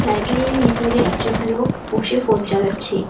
লাইব্রেরির ভিতরে একজন লোক বসে ফোন চালাচ্ছে।